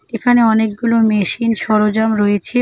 এখানে অনেকগুলো মেশিন সরজাম রয়েছে।